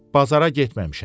Bazara getməmişəm.